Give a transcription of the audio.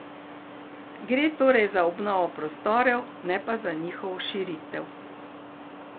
Gre torej za obnovo prostorov, ne pa njihovo širitev.